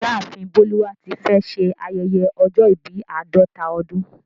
Ìyáàfin Boluwatífẹ̀ ṣè ayẹyẹ ọ̀jọ̀ ìbí àdọta ọdún